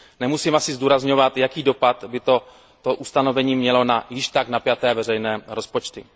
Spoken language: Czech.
Nemusím asi zdůrazňovat, jaký dopad by toto ustanovení mělo na již tak napjaté veřejné rozpočty.